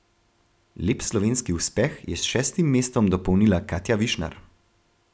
Lep slovenski uspeh je s šestim mestom dopolnila Katja Višnar.